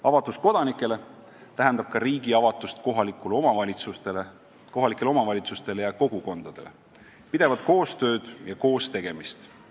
Avatus elanikele tähendab ka riigi avatust kohalikele omavalitsustele ja kogukondadele, pidevat koostööd ja koos tegemist.